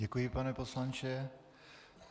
Děkuji, pane poslanče.